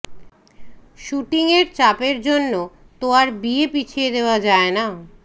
শ্যুটিংয়ের চাপের জন্য তো আর বিয়ে পিছিয়ে দেওয়া যায় না